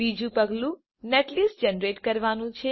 બીજું પગલું netlist generate કરવાનું છે